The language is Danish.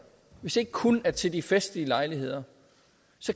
ikke kun er til de festlige lejligheder